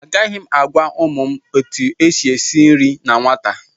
Agaghị m agwa ụmụ m etu e si esi nri na nwata